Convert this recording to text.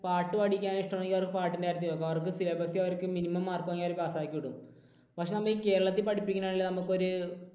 പാട്ടുപഠിക്കാൻ ഇഷ്ടമാണെങ്കിൽ അവർക്ക് പാട്ടിൻറെ കാര്യത്തിൽ പോകാം. അവർക്ക് syllabus ൽ അവർക്ക് minimum pass mark വാങ്ങിയാൽ അവരെ pass ആക്കി വിടും. പക്ഷേ ഈ കേരളത്തിൽ പഠിപ്പിക്കുന്നതിൽ നമുക്ക് ഒരു